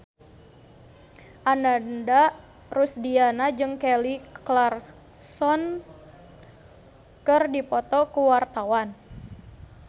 Ananda Rusdiana jeung Kelly Clarkson keur dipoto ku wartawan